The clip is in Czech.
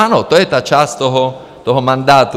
Ano, to je ta část toho mandátu.